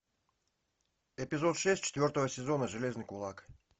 эпизод шесть четвертого сезона железный кулак